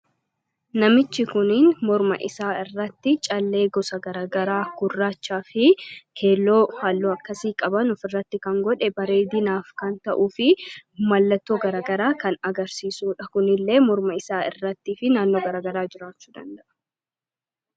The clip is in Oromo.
namichi kuniin morma isaa irratti callee gosa garagaraa gurraachaa fi keelloo haalloo akkasii qabanuuf irratti kan godhe bareedinaaf kan ta'uu fi mallatoo garagaraa kan agarsiisuudha kunillee morma isaa irrattiifi naannoo garagaraa jiraachuu danda'a